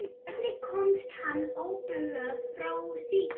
Hvernig komst hann óbugaður frá slíku?